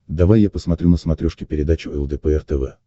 давай я посмотрю на смотрешке передачу лдпр тв